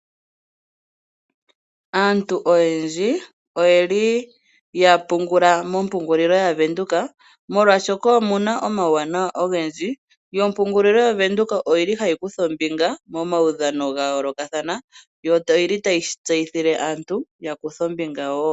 Aantu oyendji oye li ya pungula mompungulilo yaVenduka, molwashoka omu na omauwanawa ogendji yo ompungulo yaVenduka oyi li hayi kutha ombinga momaudhano ga yoolokathana. Yo oyi li tayi shi tseyithile aantu ya kuthe ombinga woo.